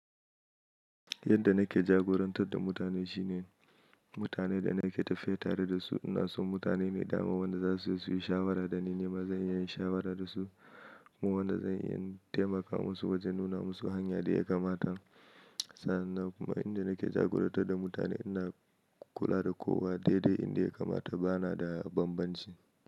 Yadda nake jagorantar da mutane shine mutanen da nake tafiya tare da su ina so mutane mai dawo wanda za su yi su yi shawara da ni, nima zan iya yin shawara da su kuma wanda zan iya taimaka musu wajen nuna musu hanya da ya kamata. Sannan kuma inda nake jagorantar da mutane ina kula da kowa dai-dai inda ya kamata bana da banbanci.